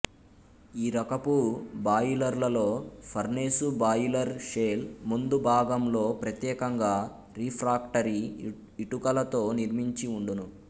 ఈ రకపు బాయిలరులలో ఫర్నేసు బాయిలరు షెల్ ముందు భాగంలో ప్రత్యేకంగా రిఫ్రాక్టరి ఇటుకలతో నిర్మించివుండును